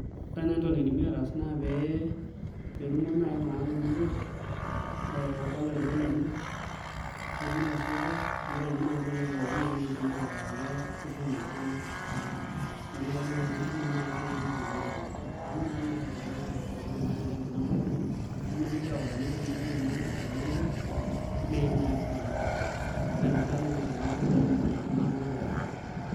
Ore naai entoki naidimi ataas naa pee etumo naai iltung'anak temurua ee olarikok lenye nenyai osotua nirori naai nkoitoi pookin naidimi ataa kitutum iltung'anak naa entumo naai esidai enitutumi iltung'anak amu nakata naa eeku iltung'anak epoito naa tenkeju nabo nemigili aoro neeku teneji maima ena oitoi neim naa kila mtu kake naai enotoki entumo oltung'annak pookin.